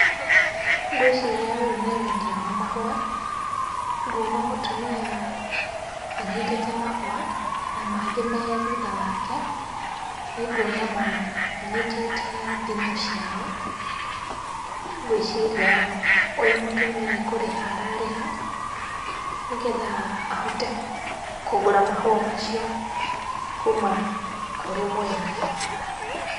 Ngũĩciria ũyũ nĩ wendia wa mahũa. Nguona mũtumia anyitĩte mahũa na mangĩ me thutha wake, nĩnguona manyitĩte thimũ ciao. Ngũĩciria ũyũ mũtumia nĩ kũrĩha ararĩha, nĩ getha ahote kũgũra mahũa macio kuma kũrĩ mwendia.